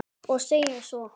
Og segir svo